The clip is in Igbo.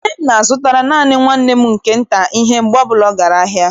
Nne m na-azụtara naanị nwanne m nke nta ihe mgbe ọbụla ọ gara ahịa.